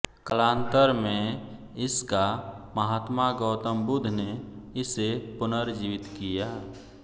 कालांतर में इसका महात्मा गौतम बुध्द ने इसे पुनर्जीवित किया